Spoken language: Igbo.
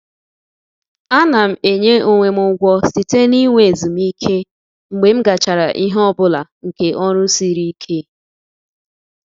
A na m enye onwe m ụgwọ site n'inwe ezumike mgbe m gachara ihe ọ bụla nke ọrụ siri ike.